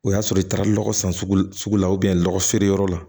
O y'a sɔrɔ i taara lɔgɔ san sugu la sugu la nɔgɔ feere yɔrɔ la